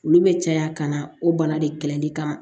Olu bɛ caya ka na o bana de kɛlɛli kama